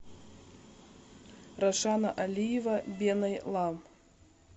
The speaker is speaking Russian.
рашана алиева беной лам